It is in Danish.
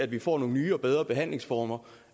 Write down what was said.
vi får nogle nye og bedre behandlingsformer